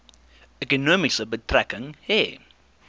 ekonomie betrekking hê